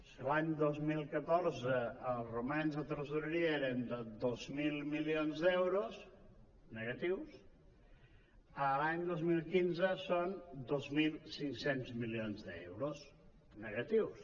si l’any dos mil catorze els romanents de tresoreria eren de dos mil milions d’euros negatius l’any dos mil quinze són dos mil cinc cents milions d’euros negatius